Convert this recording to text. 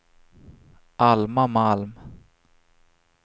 Alma Malm